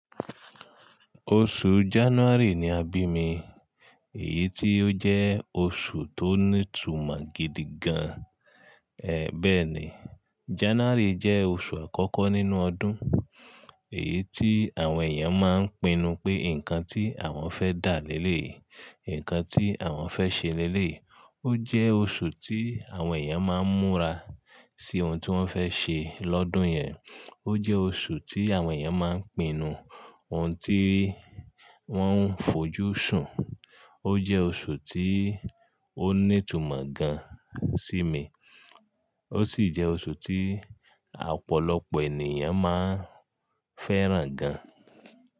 Oṣù January ni a bí mi, èyí tí ó jẹ́ oṣù tó ní ìtumọ̀ gidi gan. Ẹ bẹ́ẹ̀ ni, January jẹ́ oṣù àkọ́kọ́ nínú ọdún, èyí tí àwọn èèyàn máa ń pinnu pé nǹkan tí àwọn fẹ́ dà leléyi nǹkan tí àwọn fẹ́ ṣe leléyi. Ó jẹ́ oṣù tí àwọn èèyàn máa ń múra sí ohun tí wọ́n fẹ́ ṣe lọ́dún yẹn. Ó jẹ́ oṣù tí àwọn èèyàn máa ń pinnu ohun tí wọ́n ń fojú sùn. Ó jẹ́ oṣù tí ó ní ìtumọ̀ gan sí mi, ó sì jẹ́ oṣù tí ọ̀pọ̀lọpọ̀ ènìyàn máa ń fẹ́ràn gan.